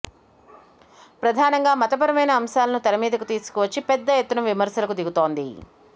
ప్రధానంగా మతపరమైన అంశాలను తెర మీదకు తీసుకువచ్చి పెద్ద ఎత్తున విమర్శలకు దిగుతోంది